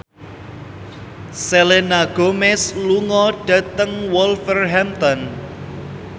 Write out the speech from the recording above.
Selena Gomez lunga dhateng Wolverhampton